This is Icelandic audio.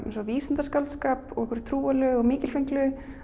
eins og vísindaskáldskap og einhverju trúarlegu og mikilfenglegu